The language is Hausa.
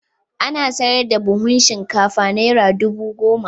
Ana saida buhun shinkafa Naira dubu goma.